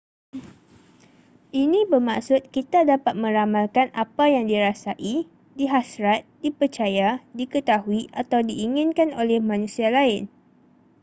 ini bermaksud kita dapat meramalkan apa yang dirasai dihasrat dipercaya diketahui atau diinginkan oleh manusia lain